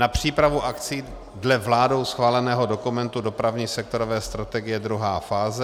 na přípravu akcí dle vládou schváleného dokumentu Dopravní sektorové strategie, 2. fáze;